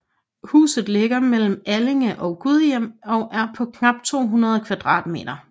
Huset ligger mellem Allinge og Gudhjem og er på knap 200 m2